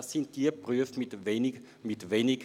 Es sind die Berufe mit tiefem Gehalt.